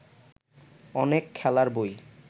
অনেক খেলার বই